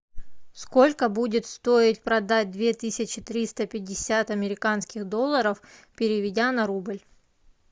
сколько будет стоить продать две тысячи триста пятьдесят американских долларов переведя на рубль